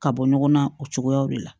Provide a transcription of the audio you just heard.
Ka bɔ ɲɔgɔn na o cogoya de la